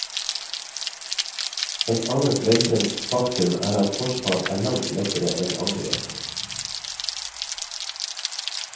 Et annet velkjent faktum er at forsvar er langt lettere enn angrep.